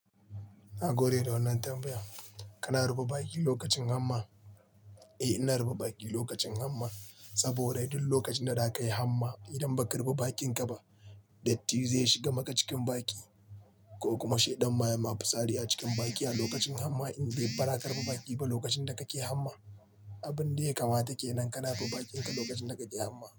Na gode da wannan tambaya. Kana ruba bakin lokacin hamma? Eh, ina ruba bakin lokacin hamma saboda duk lokacin da zakayi hamma idan ba ka ruba bakinka ba, datti zai shiga maka cikin baki ko kuma shi ɗan maye masu sariya cikin baki a lokacin hamma in bai baraka ruba bakin ka ba lokacin da kake hamma. Abun dai kamata kenan ka na ruba bakinka lokacin da kake hamma.